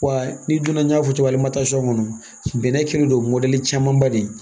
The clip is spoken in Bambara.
Wa n'i donna n y'a fɔ cogo min na kɔnɔ bɛnɛ kɛlen don camanba de ye